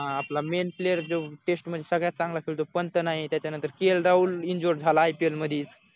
आपला main player जो test मढी सगळ्यात चांगला खेळतो पंत नाही त्याच्यानंतर के एल राहुल इन्जुर्ड झाला ipl मधी